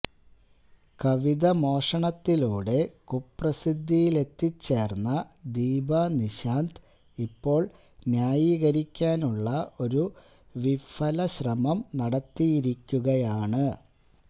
കവിത മോഷണത്തിലൂടെ കുപ്രസിദ്ധിയിലെത്തിച്ചേര്ന്ന ദീപനിശാന്ത് ഇപ്പോള് ന്യായീകരിക്കാനുള്ള ഒരു വിഫല ശ്രമം നടത്തിയിരിക്കുകയാണ്